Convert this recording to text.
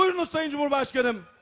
Buyurun Sayın Cümhurbaşqanım.